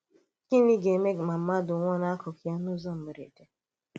Gịnị̀ gā-èmè má mmádụ̀ nwụ̀ọ̀ n’ákụkụ̀ ya n’ụ́zọ̀ mbèrèdè?